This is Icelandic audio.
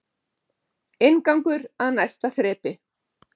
Inngangur að næsta þrepi